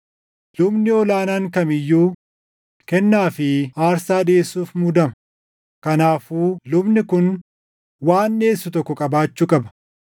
Lubni ol aanaan kam iyyuu kennaa fi aarsaa dhiʼeessuuf muudama; kanaafuu lubni kun waan dhiʼeessu tokko qabaachuu qaba.